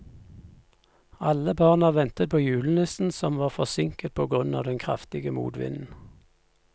Alle barna ventet på julenissen, som var forsinket på grunn av den kraftige motvinden.